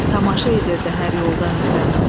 Tamaşa edirdi hər yoldan ötən.